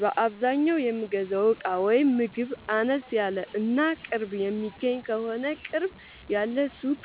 በአዛኛው የምገዛው እቃ ወይም ምግብ አነስ ያለ እና ቅርብ የሚገኝ ከሆነ ቅርብ ያለ ሱቅ